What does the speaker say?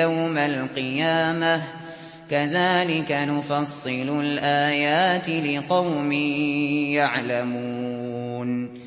يَوْمَ الْقِيَامَةِ ۗ كَذَٰلِكَ نُفَصِّلُ الْآيَاتِ لِقَوْمٍ يَعْلَمُونَ